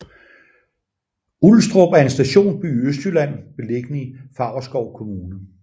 Ulstrup er en stationsby i Østjylland beliggende i Favrskov Kommune